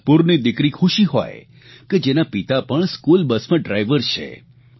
નાગપુરની દિકરી ખુશી હોય કે જેના પિતા પણ સ્કૂલબસમાં ડ્રાઇવર છે